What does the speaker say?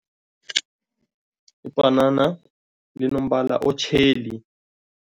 Ibhanana linombala otjheli.